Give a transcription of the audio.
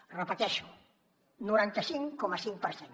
ho repeteixo noranta cinc coma cinc per cent